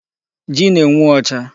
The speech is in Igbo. Ji na-enwu ọcha.